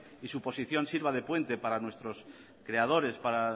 y su posición sirva de puente para nuestros creadores para